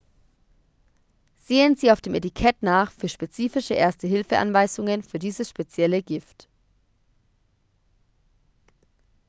sehen sie auf dem etikett nach für spezifische erste-hilfe-anweisungen für dieses spezielle gift